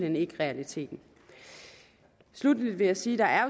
hen ikke realiteten sluttelig vil jeg sige at